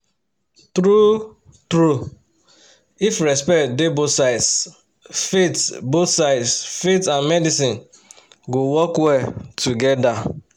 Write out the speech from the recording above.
true-true if respect dey both sides faith both sides faith and medicine go work well together